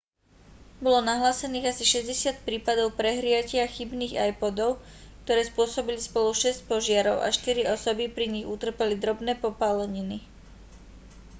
bolo nahlásených asi 60 prípadov prehriatia chybných ipodov ktoré spôsobili spolu šesť požiarov a štyri osoby pri nich utrpeli drobné popáleniny